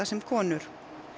sem konur